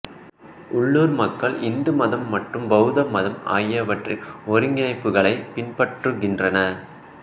உள்ளூர் மக்கள் இந்து மதம் மற்றும் பௌத்த மதம் ஆகியவற்றின் ஒருங்கிணைப்புகளை பின்பற்றுகின்றனர்